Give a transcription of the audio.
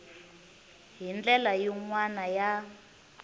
hi ndlela yin wana ya